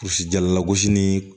Kulusi jala gosi ni